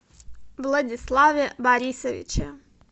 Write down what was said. владиславе борисовиче